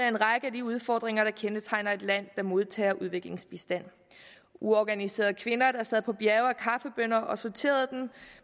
en række af de udfordringer der kendetegner et land der modtager udviklingsbistand uorganiserede kvinder sad på bjerge af kaffebønner og sorterede dem